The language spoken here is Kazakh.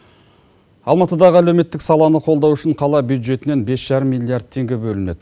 алматыдағы әлеуметтік саланы қолдау үшін қала бюджетінен бес жарым миллиард тенге бөлінеді